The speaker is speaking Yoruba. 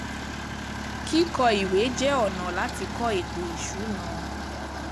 Kíkọ ìwé jẹ́ ọ̀nà láti kọ ètò ìsúná.